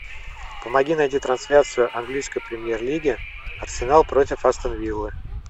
помоги найти трансляцию английской премьер лиги арсенал против астон виллы